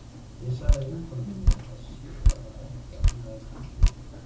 Ég sagði vinkonu minni að sýta það ekki að hún væri einbirni.